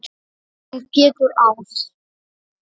Þinn Pétur Ás.